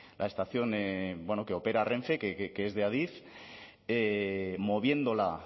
la estación que opera renfe que es de adif moviéndola